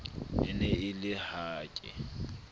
e ne e le hake